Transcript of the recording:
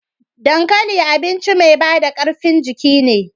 Dankali abinci mai bada karfin jiki ne.